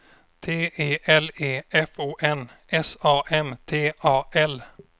T E L E F O N S A M T A L